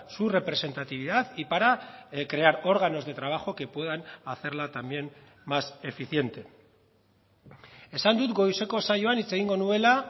su representatividad y para crear órganos de trabajo que puedan hacerla también más eficiente esan dut goizeko saioan hitz egingo nuela